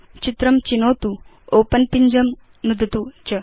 चित्रं चिनोतु ओपेन पिञ्जं नुदतु च